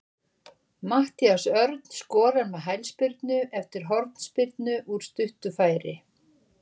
Matthías Örn skorar með hælspyrnu eftir hornspyrnu úr stuttu færi.